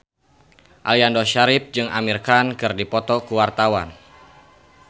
Aliando Syarif jeung Amir Khan keur dipoto ku wartawan